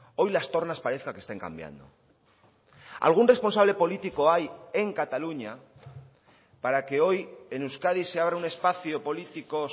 hoy las tornas parezca que estén cambiando algún responsable político hay en cataluña para que hoy en euskadi se abra un espacio político